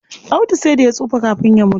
Audu sai da ya tsufa kafin ya mutu.